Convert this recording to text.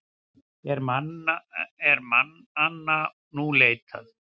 Er mannanna nú leitað.